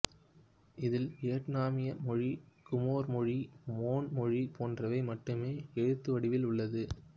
இதில் வியட்னாமிய மொழி குமேர் மொழி மோன் மொழி போன்றவை மட்டுமே எழுத்துவடிவில் உள்ளது